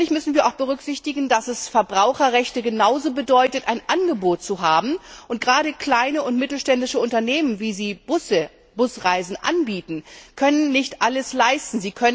Natürlich müssen wir auch berücksichtigen, dass Verbraucherrechte genauso bedeuten, ein Angebot zu haben, und gerade kleine und mittlere Unternehmen, die Busreisen anbieten, können nicht alles leisten.